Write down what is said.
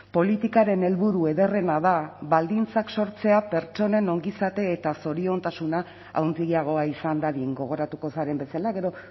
politikaren helburu ederrena da baldintzak sortzea pertsonen ongizate eta zoriontasuna handiagoa izan dadin gogoratuko zaren bezala gero